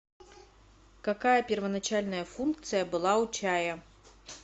какая первоначальная функция была у чая